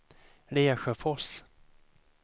Lesjöfors